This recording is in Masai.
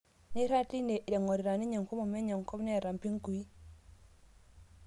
Neirag teine ing'orita ninye enkomom enye enkop neeta mpingui